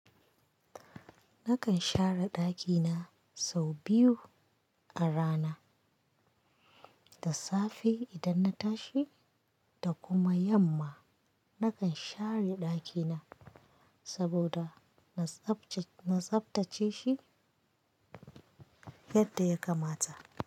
Nakan share ɗakina sau biyu a rana, da safe idan na tashi da kuma yamma. Nakan share ɗakina saboda na tsabtace shi yadda ya kamata.